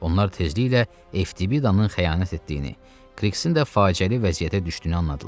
Onlar tezliklə Eftibidanın xəyanət etdiyini, Krixin də faciəli vəziyyətə düşdüyünü anladılar.